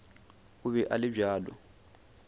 o be a le bjalo